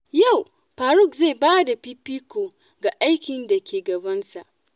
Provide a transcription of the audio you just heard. Yau Faruq zai ba da fifiko ga aikin da ke gabansa.